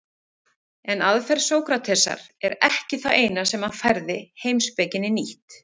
En aðferð Sókratesar er ekki það eina sem hann færði heimspekinni nýtt.